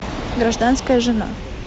гражданская жена